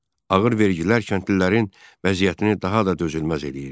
Ağır vergilər kəndlilərin vəziyyətini daha da dözülməz eləyirdi.